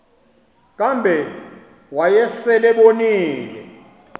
kambe wayesel ebonile